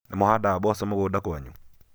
nĩmũhandaga mboco mũgũnda kwanyu?